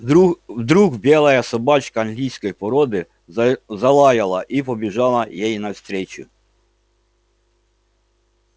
вдруг вдруг белая собачка английской породы залаяла и побежала ей навстречу